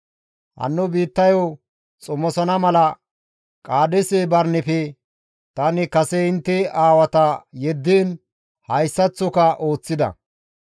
Hanno biittayo xomosana mala Qaadeese Barineppe tani kase intte aawata yeddiin hayssaththoka ooththida.